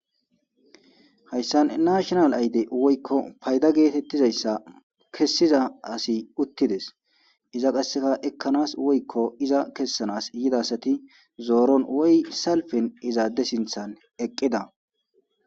hayssan nashonal ayde woykko payda geetettizayssa kessiza asi uttides iza qasseka ekkanas woykko iza kessanas yidasati zooron woy salfen izaadde sinthan eqqida